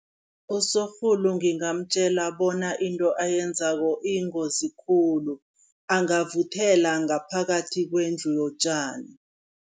Usorhulu ngingamtjela bona into ayenzako iyingozi khulu, angavuthela ngaphakathi kwendlu yotjani.